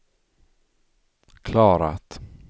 klarat